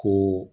Ko